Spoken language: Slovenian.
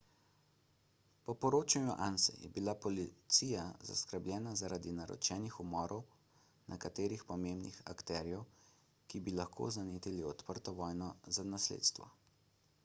po poročanju anse je bila policija zaskrbljena zaradi naročenih umorov nekaterih pomembnih akterjev ki bi lahko zanetili odprto vojno za nasledstvo